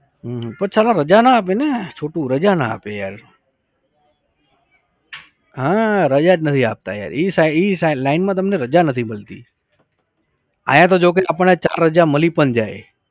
પણ સાલો રજા ન આપે ને છોટુ રજા ન આપે યાર. હા રજા જ નથી આપતા યાર ઇ સા ઇ સા line માં તમને રાજા નથી મલતી. અહીંયા તો જોકે આપણને ચાર રાજા મલી પણ જાય